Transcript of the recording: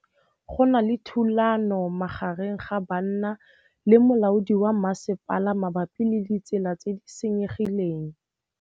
Go na le thulanô magareng ga banna le molaodi wa masepala mabapi le ditsela tse di senyegileng.